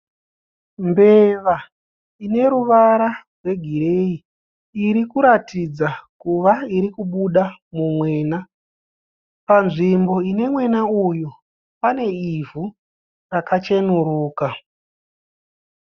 Mbeva ine ruvara rwegireyi iri kuratidza kuva iri kubuda mumwena. Panzvimbo ine mwena uyu pane ivhu rakachenuruka.